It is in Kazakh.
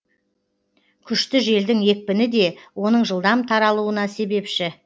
күшті желдің екпіні де оның жылдам таралуына себепші